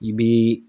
I bi